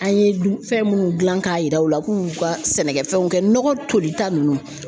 An ye fɛn minnu gilan k'a yira u la k'u ka sɛnɛkɛfɛnw kɛ nɔgɔ tolita ninnu.